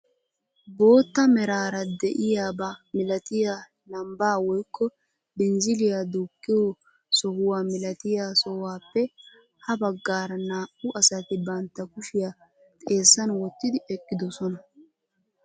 Bootta meraara de'iyaaba milatiyaa lambbaa woykko binziliyaa duuqqiyoo sohuwaa milatiyaa sohuwaappe ha baggaara naa"u asati bantta kushiyaa xeessan wottidi eqqidoosona.